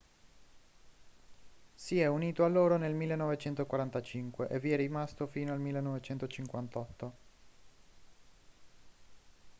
si è unito a loro nel 1945 e vi è rimasto fino al 1958